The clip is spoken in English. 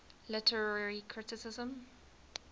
literary criticism